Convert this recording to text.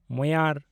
ᱢᱳᱭᱟᱨ